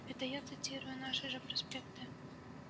это я цитирую наши же проспекты